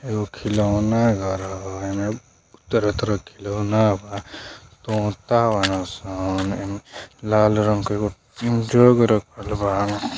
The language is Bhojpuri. एगो खिलौना धरल हओईमें तरह -तरह खिलौना बा तोता बाड़ां सं एईमें लाल रंग का एगो जग रखल बा।